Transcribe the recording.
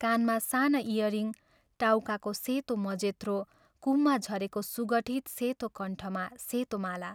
कानमा साना इयरिङ्ग टाउकाको सेतो मजेत्रो कुममा झरेको सुगठित सेतो कण्ठमा सेतो माला।